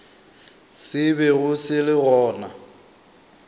se bego se le gona